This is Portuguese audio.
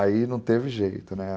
Aí não teve jeito, né?